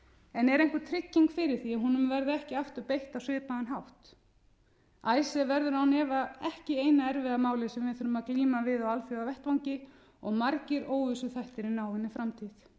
en er einhver trygging fyrir því að honum verði ekki aftur beitt á svipaðan hátt icesave verður án efa ekki eina erfiða málið sem við þurfum að glíma við á alþjóðavettvangi og margir óvissuþættir í náinni framtíð